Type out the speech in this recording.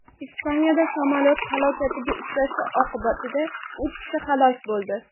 Ispaniyada samolyot halokatga uchrashi oqibatida uch kishi halok bo‘ldi.